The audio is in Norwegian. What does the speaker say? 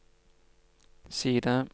side